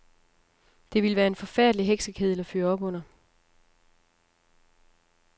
Det ville være en forfærdelig heksekedel at fyre op under.